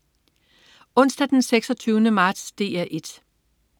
Onsdag den 26. marts - DR 1: